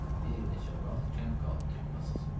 Bir neçə vaxt kənd qaldı kattasız.